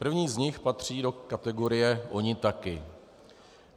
První z nich patří do kategorie "oni taky".